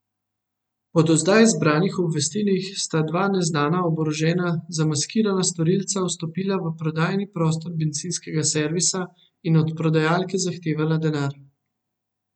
Po do zdaj zbranih obvestilih sta dva neznana, oborožena, zamaskirana storilca vstopila v prodajni prostor bencinskega servisa in od prodajalke zahtevala denar.